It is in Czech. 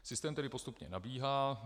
Systém tedy postupně nabíhá.